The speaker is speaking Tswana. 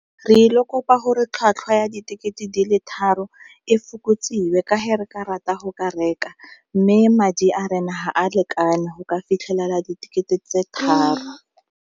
Re il'o kopa gore tlhwatlhwa ya ditekete di le tharo e fokotsiwe ka ge re ka rata go ka reka mme madi a rena ga a lekane go ka fitlhelela ditekete tse tharo.